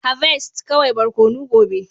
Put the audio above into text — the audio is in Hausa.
Harvest kawai barkono gobe